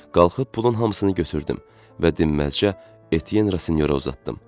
Qalxıb pulun hamısını götürdüm və dinməzcə Etyenrasinyora uzatdım.